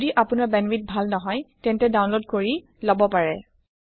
যদি আপোনাৰ বেন্দৱাইথ ভাল নহয় তেন্তে ডাউনলোড কৰি লব পাৰে